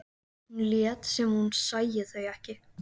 Hún lét sem hún sæi þau ekki.